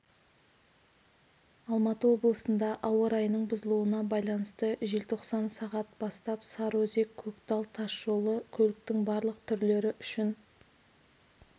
алматы облысында ауа райының бұзылуына байланысты желтоқсан сағат бастап сарыөзек-көктал тас жолы көліктің барлық түрлері үшін